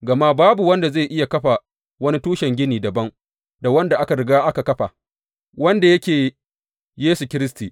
Gama babu wanda zai iya kafa wani tushen gini dabam da wanda aka riga aka kafa, wanda yake Yesu Kiristi.